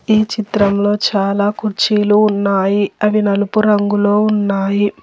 ఈ చిత్రంలో చాలా కుర్చీలు ఉన్నాయి అవి నలుపు రంగులో ఉన్నాయి.